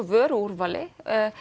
vöruúrvali